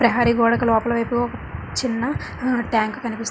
ప్రహరీ గోడకు లోపలి వైపు చిన్న హా ట్యాంక్ కనిపిస్తూ --